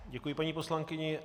Děkuji paní poslankyni.